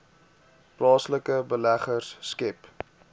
plaaslike beleggers skep